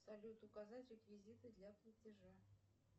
салют указать реквизиты для платежа